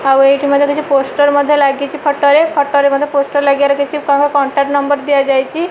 ଆଉ ଏଇଠୀ ମଧ୍ୟ କିଛି ପୋଷ୍ଟର ମଧ୍ୟ ଲାଗିଚି ଫଟ ରେ ଫଟ ରେ ମଧ୍ୟ ପୋଷ୍ଟର ଲାଗିବାର କିଛି କଣ୍ଟାକ୍ଟ ନମ୍ବର ଦିଆଯାଇଛି।